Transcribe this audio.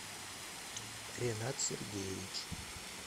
ренат сергеевич